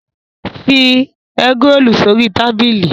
Fi ẹ́grolù sórí tábìlì!